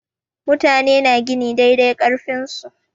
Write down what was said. Mutane na gini dai dai ƙarfin su.